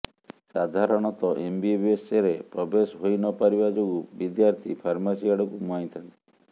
ସାଧାରଣତଃ ଏମବିବିଏସ୍ ରେ ପ୍ରବେଶ ହୋଇନପାରିବା ଯୋଗୁଁ ବିଦ୍ୟାର୍ଥୀ ଫାର୍ମାସୀ ଆଡକୁ ମୁହାଁଇ ଥାନ୍ତି